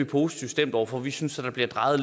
positivt stemt over for vi synes der bliver drejet